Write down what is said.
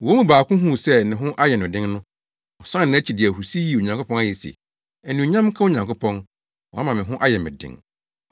Wɔn mu baako huu sɛ ne ho ayɛ no den no, ɔsan nʼakyi de ahurusi yii Onyankopɔn ayɛ se, “Anuonyam nka Onyankopɔn, wama me ho ayɛ me den!”